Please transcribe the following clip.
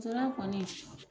kɔni